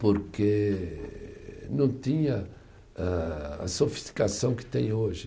Porque não tinha ah, a sofisticação que tem hoje.